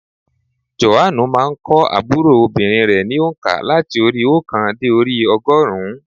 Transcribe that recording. Jòhánù má a n kọ́ ábúrò obìnrin ní ònká láti orí i óòkan dé orí i ogórùn ún